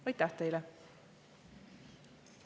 Aitäh teile!